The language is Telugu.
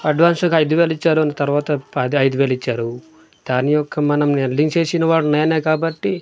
అడ్వాన్స్ గా ఐదువేలిచ్చారు తర్వాత పది ఐదువేలిచ్చారు దాని యొక్క మనం వెల్డింగ్ చేసిన వాడు నేనే కాబట్టి--